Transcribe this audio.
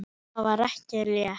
Það var ekki létt.